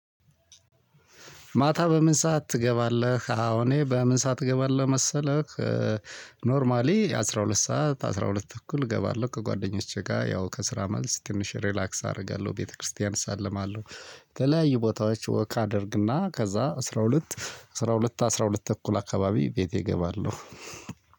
ማታ በምን ሰዓት ትገባለህ? አው እኔ በምን ሰዓት እገባለው መሰለህ ኖርማሊ አስራ ሁለት ሰዓት አስራ ሁለት ተኩል እገባለሁ። ከጓደኞቼ ጋር ያው ከስራ መልስ ትንሽ ሪላክስ አደርጋለሁ ቤተክርስቲያን እሳለማለሁ። የተለያዩ ቦታዎች ወክ አደርግና ከዛ አስራ ሁለት አስራ ሁለት አስራ ሁለት ተኩል አካባቢ ቤቴ እገባለሁ።